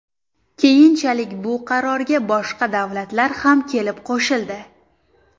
Keyinchalik bu qarorga boshqa davlatlar ham kelib qo‘shildi.